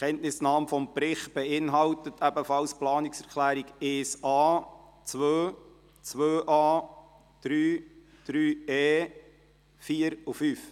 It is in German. Die Kenntnisnahme des Berichts beinhaltet ebenfalls die Planungserklärungen 1.a, 2, 2.a, 3, 3.e, 4 und 5.